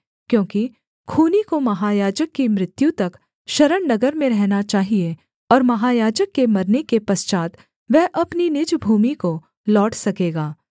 क्योंकि खूनी को महायाजक की मृत्यु तक शरणनगर में रहना चाहिये और महायाजक के मरने के पश्चात् वह अपनी निज भूमि को लौट सकेगा